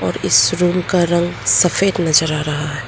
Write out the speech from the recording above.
और इस रूम का रंग सफेद नजर आ रहा है।